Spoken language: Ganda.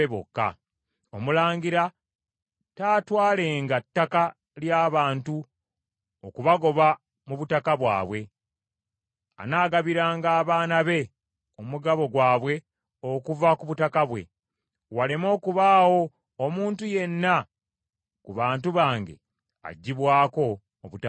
Omulangira taatwalenga ttaka ly’abantu okubagoba mu butaka bwabwe; anaagabiranga abaana be omugabo gwabwe okuva ku butaka bwe, waleme okubaawo omuntu yenna ku bantu bange aggyibwako obutaka bwe.’ ”